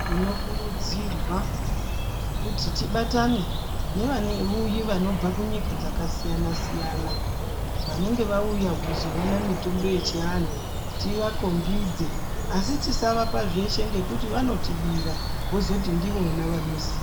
Tinokurudzirwa kuti tibatane nevauyi vanobva munyika dzakasiyana -siyana vanenge vauya kuzoona mitombo yechianhu tiakhombidze asi tisavapa zveshe nekuti vanotibira vozoti ndivona vanoziya.